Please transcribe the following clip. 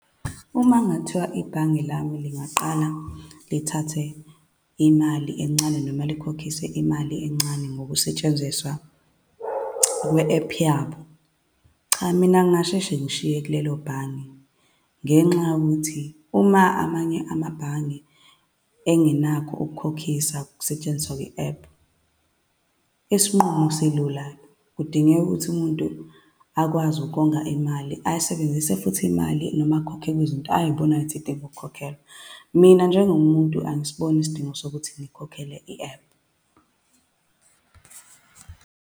Uma kungathiwa ibhange lami lingaqala lithathe imali encane, noma likhokhise imali encane ngokusetshenziswa kwe-ephu yabo, cha, mina ngingasheshe ngishiye kulelo bhange. Ngenxa yokuthi uma amanye amabhange engenakho ukukhokhisa ukusetshenziswa kwe-ephu, isinqumo silula. Kudingeka ukuthi umuntu akwazi ukonga imali, ayisebenzise futhi imali noma akhokhe kwizinto ay'bonayo futhi zidinga ukukhokhela. Mina njengomuntu, angisiboni isidingo sokuthi nikhokhele i-ephu.